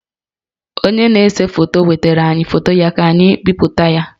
Onye na-ese foto wetaara anyị foto ya ka anyị bipụta ya